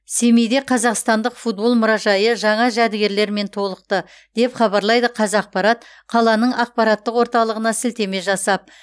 семейде қазақстандық футбол мұражайы жаңа жәдігерлермен толықты деп хабарлайды қазақпарат қаланың ақпараттық орталығына сілтеме жасап